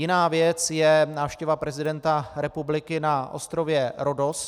Jiná věc je návštěva prezidenta republiky na ostrově Rhodos.